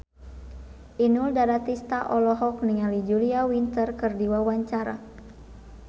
Inul Daratista olohok ningali Julia Winter keur diwawancara